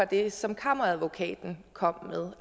det som kammeradvokaten kom med